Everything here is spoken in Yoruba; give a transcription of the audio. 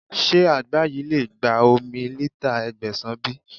Ṣé àgbá yìí lè gba omi lítà Ẹgbẹ̀sàn bí?